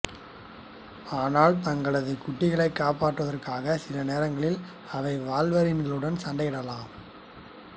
ஆனால் தங்களது குட்டிகளை காப்பாற்றுவதற்காக சில நேரங்களில் அவை வால்வரின்களுடன் சண்டையிடலாம்